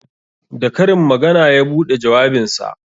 Da karin magana ya buɗe jawabinsa